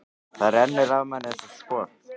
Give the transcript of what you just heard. Það rennur af manni eins og skot.